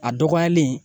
A dɔgɔyalen